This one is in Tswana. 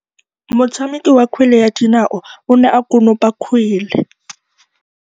Motshameki wa kgwele ya dinaô o ne a konopa kgwele.